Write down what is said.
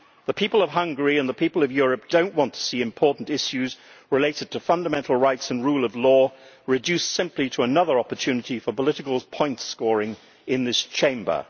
The people of Hungary and the people of Europe do not want to see important issues related to fundamental rights and the rule of law reduced simply to another opportunity for political point scoring in this Chamber.